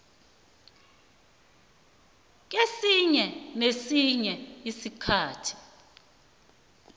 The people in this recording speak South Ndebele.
kesinye nesinye isikhathi